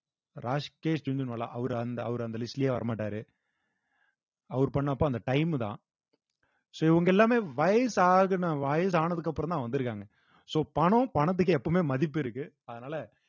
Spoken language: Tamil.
அவரு அந்த அவரு அந்த list லயே வர மாட்டாரு அவர் பண்ணப்ப அந்த time தான் so இவங்க எல்லாமே வயசாகுன வயசானதுக்கு அப்புறம்தான் வந்திருக்காங்க so பணம் பணத்துக்கு எப்பவுமே மதிப்பு இருக்கு அதனால